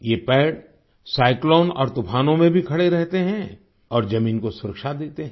ये पेड़ साइक्लोन और तूफानों में भी खड़े रहते है और जमीन को सुरक्षा देते हैं